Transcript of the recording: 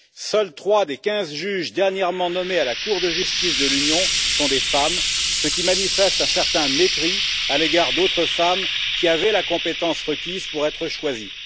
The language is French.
Seuls trois des quinze juges dernièrement nommés à la Cour de justice de l'Union européenne sont des femmes, ce qui manifeste un certain mépris à l'égard d'autres femmes qui avaient la compétence requise pour être choisies.